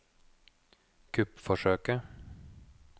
kuppforsøket